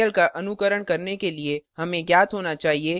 इस tutorial का अनुकरण करने के लिए हमें ज्ञात होना चाहिए